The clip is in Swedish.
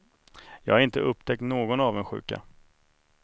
Jag har inte upptäckt någon avundsjuka.